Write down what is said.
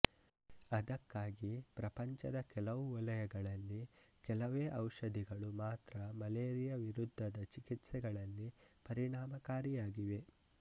ಅದಕ್ಕಾಗಿ ಪ್ರಪಂಚದ ಕೆಲವು ವಲಯಗಳಲ್ಲಿ ಕೆಲವೇ ಔಷಧಿಗಳು ಮಾತ್ರ ಮಲೇರಿಯಾ ವಿರುದ್ಧದ ಚಿಕಿತ್ಸೆಗಳಲ್ಲಿ ಪರಿಣಾಮಕಾರಿಯಾಗಿವೆ